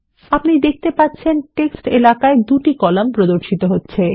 আপনি দেখতে পাচ্ছেন টেক্সট এলাকায় ২ টি কলাম প্রদর্শিত হচ্ছে